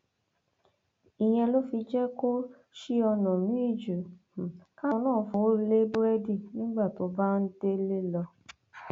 ìyẹn ló fi jẹ kó ṣí ọnà míín ju um káwọn náà fọwọ lé búrẹdì nígbà tó bá um délé lọ